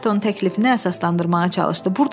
Ayerton təklifini əsaslandırmağa çalışdı.